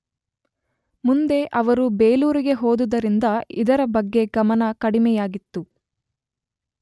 ಮುಂದೆ ಅವರು ಬೇಲೂರಿಗೆ ಹೋದುದರಿಂದ ಇದರ ಬಗ್ಗೆ ಗಮನ ಕಡಿಮೆಯಾಗಿತ್ತು.